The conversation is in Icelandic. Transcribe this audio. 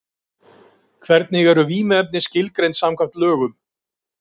Hvernig eru vímuefni skilgreind samkvæmt lögum?